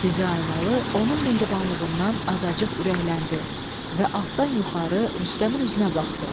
Dizaynalı onun mehribanlığından azacıq ürəkləndi və altdan yuxarı Rüstəmin üzünə baxdı.